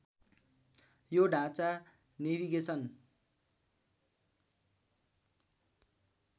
यो ढाँचा नेभिगेसन